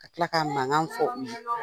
Ka tila k'a mankan fɔ u ye